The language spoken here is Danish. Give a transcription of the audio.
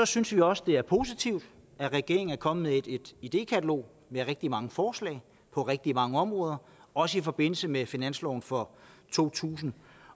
synes vi også det er positivt at regeringen er kommet med et idékatalog med rigtig mange forslag på rigtig mange områder også i forbindelse med finansloven for to tusind